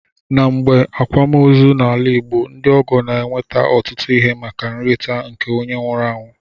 Na mgbe akwam ozi na ala igbo, ndi ọgọ na eweta otụtu ihe maka nrita nke onye nwuru anwụ.